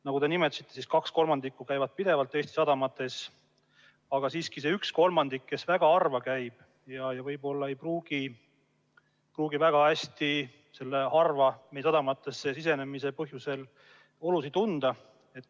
Nagu te nimetasite, kaks kolmandikku käib pidevalt Eesti sadamates, aga see üks kolmandik, kes väga harva käib, ei pruugi kuhugi väga harva sõidetavasse sadamasse sisenemise olusid tunda.